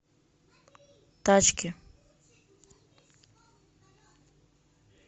тачки